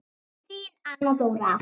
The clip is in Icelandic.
Þín Anna Dóra.